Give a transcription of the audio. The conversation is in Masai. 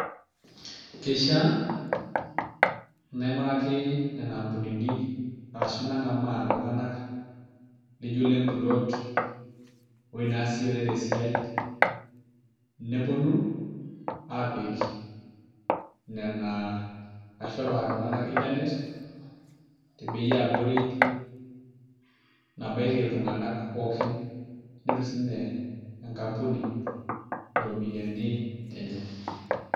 Keishiaa naing'uraki nena ampunini arashu nang'amaa iltung'anak lijio ile mpuloot ewuoi naasishore tesiai neponu aapik nena ashu aapikaki iltung'anak internet te bei e abori nabaiki iltung'anak pookin, netum sininye enkampuni iropiyiani enye.